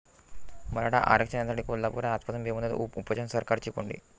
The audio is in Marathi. मराठा आरक्षणासाठी कोल्हापुरात आजपासून बेमुदत उपोषण, सरकारची कोंडी